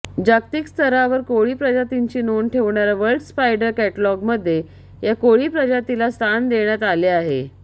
जागतिकस्तरावर कोळी प्रजातींची नोंद ठेवणाऱ्या वर्ल्ड स्पायडर कॅटलॉगमध्ये या कोळी प्रजातीला स्थान देण्यात आले आहे